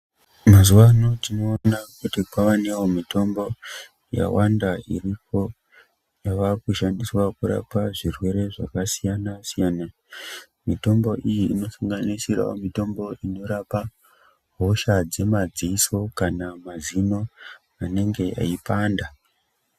Mazuvano tinoona kuti kwavanewo mitombo yawanda iripo yavakushandiswa kurapa zvirwere zvakasiyana-siyana. Mitombo iyi inosanganisirawo mitombo inorapa hosha dzemadziso kana mazino anenge eipanda.